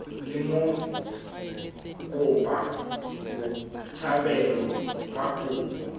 le mokopa botshabelo fa kopo